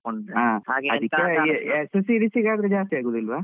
S series ಗೆ ಜಾಸ್ತಿ ಆಗೋದಿಲ್ವ?